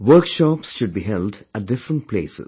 Workshops should be held at different places